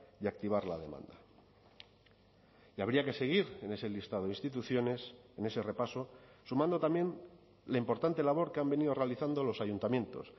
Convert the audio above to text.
y activar la demanda y habría que seguir en ese listado de instituciones en ese repaso sumando también la importante labor que han venido realizando los ayuntamientos